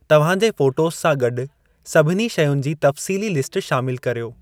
तव्हां जे फ़ोटोज़ सां गॾु सभिनी शयुनि जी तफ़सीली लिस्ट शामिलु कर्यो।